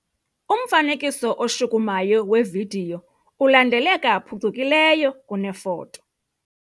Umfanekiso oshukumayo wevidiyo ulandeleka phucukileyo kunefoto.